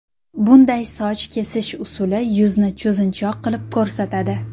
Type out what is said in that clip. Bunday soch kesish usuli yuzni cho‘zinchoq qilib ko‘rsatadi.